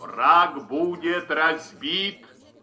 враг будет разбит